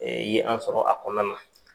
Ye an sɔrɔ a kɔnɔna na.